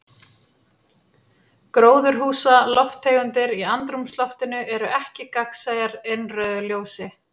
Gróðurhúsalofttegundir í andrúmsloftinu eru ekki gagnsæjar innrauðu ljósi.